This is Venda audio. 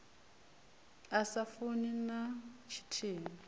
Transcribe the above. a sa funi na tshithihi